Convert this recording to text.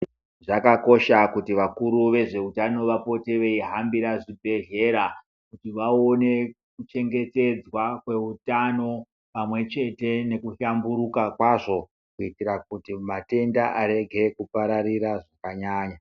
Zvakakosha kuti vakuru vezveutano vapote veihambira zvibhedhlera vaone kuchengetedzwa kweutano pamwe chete nekuhlamburuka kwazvo kuitira kuti matenda arwge kupararira zvakanyanya.